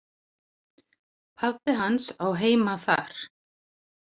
Pabbi hans á heima þar.